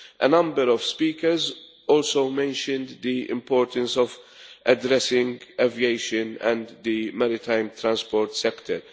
A number of speakers also mentioned the importance of addressing aviation and the maritime transport sector.